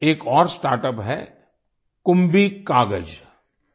एक और स्टार्टअप है कुंभी कागज कुंभिकागज़